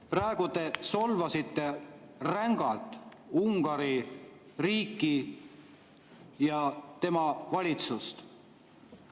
Praegu te solvasite rängalt Ungari riiki ja tema valitsust.